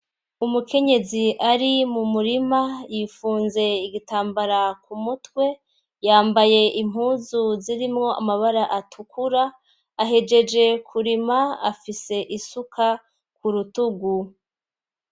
Umukenyezi ari mumurima, yifunze igitambara kumutwe, yambaye impuzu zirimwo amabara atukura, ahejeje kurima afise isuka kurutugu.